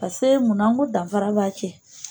Paseke munakun dafara